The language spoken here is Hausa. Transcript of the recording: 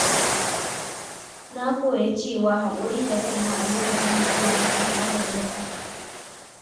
Na koya cewa haƙuri da kaina a lokacin matsala ya na ƙara daraja ta.